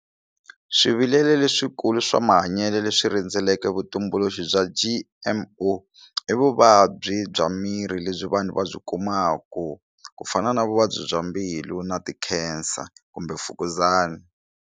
Swivilelo leswikulu swa mahanyelo leswi rhendzeleke vutumbuluxi bya G_M_O i vuvabyi bya miri lebyi vanhu va byi kumaku ku fana na vuvabyi bya mbilu na ti cancer kumbe mfukuzana.